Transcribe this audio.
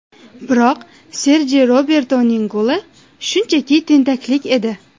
Biroq Serji Robertoning goli shunchaki tentaklik edi.